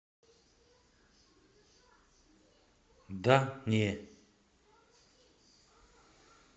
да не